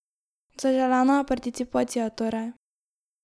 Zaželena je participacija, torej.